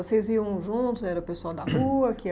Vocês iam juntos, era o pessoal da rua que ia